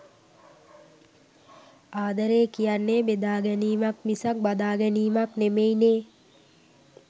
ආදරේ කියන්නේ බෙදා ගැනීමක් මිසක් බදා ගැනීමක් නෙමෙයි නේ.